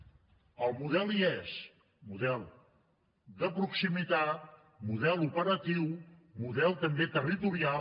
el model hi és model de proximitat model operatiu model també territorial